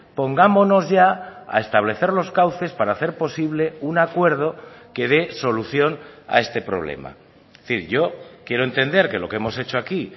pongámonos ya a establecer los cauces para hacer posible un acuerdo que dé solución a este problema es decir yo quiero entender que lo que hemos hecho aquí